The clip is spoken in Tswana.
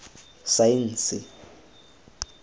saense